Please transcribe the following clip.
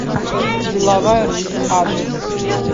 деловая русь адрес